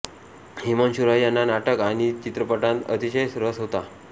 हिमांशु रॉय यांना नाटक आणि चित्रपटांत अतिशय रस होता